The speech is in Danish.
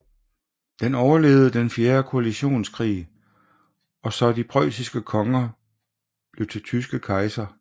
Den overlevede den fjerde koalitionskrig og så de preussiske konger blive til tyske kejser